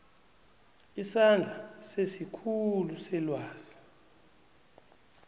isandla sesikhulu selwazi